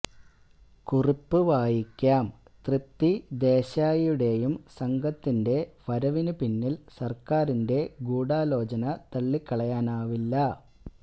കുറിപ്പ് വായിക്കാം തൃപ്തി ദേശായിയുടേയും സംഘത്തിന്റെ വരവിനുപിന്നില് സര്ക്കാരിന്റെ ഗൂഡാലോചന തള്ളിക്കളയാനാവില്ല